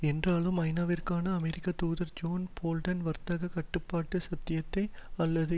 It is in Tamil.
என்றாலும் ஐநாவிற்கான அமெரிக்கத்தூதர் ஜோன் போல்டன் வர்த்தக கட்டுப்பாட்டு சத்தியத்தை அல்லது